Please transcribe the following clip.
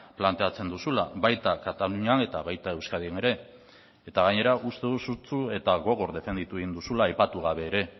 planteatzen duzula baita katalunian eta baita euskadin ere eta gainera uste dut sutsu eta gogor defenditu egin duzula aipatu gabe ere